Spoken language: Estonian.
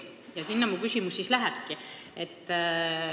Selle kohta mu küsimus ongi.